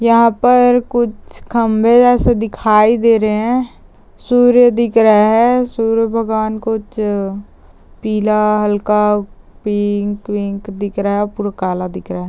यहां पर कुछ खंभे जैसे दिखाई दे रहे है सूर्य दिख रहे है सूर्य भगवान कुछ पीला हल्का पिंक विंक दिख रहा पूरा काला दिख रहा है।